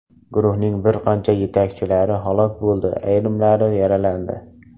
Guruhning bir qancha yetakchilari halok bo‘ldi, ayrimlari yaralandi.